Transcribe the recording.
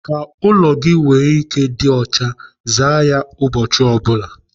Ka ụlọ gị nwee ike ịdị ọcha, zaa ya ụbọchị ọ bụla.